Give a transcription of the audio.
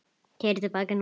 Keyra til baka, snúa.